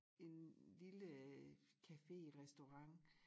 En lille café restaurant